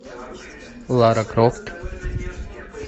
лара крофт